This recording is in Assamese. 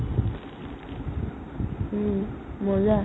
উম মজা